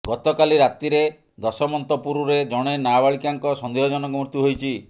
ଗତକାଲି ରାତିରେ ଦଶମନ୍ତପୁରରେ ଜଣେ ନାବାଳିକାଙ୍କ ସନ୍ଦେହଜନକ ମୃତ୍ୟୁ ହୋଇଛି